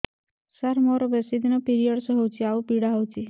ସାର ମୋର ବେଶୀ ଦିନ ପିରୀଅଡ଼ସ ହଉଚି ଆଉ ପୀଡା ହଉଚି